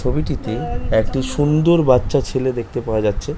ছবিটিতে একটি সুন্দ--র-- বাচ্চা ছেলে দেখতে পাওয়া যাচ্ছে।